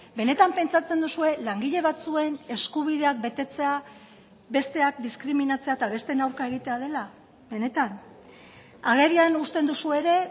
benetan pentsatzen duzue langile batzuen eskubideak betetzea besteak diskriminatzea eta besteen aurka egitea dela benetan agerian uzten duzue ere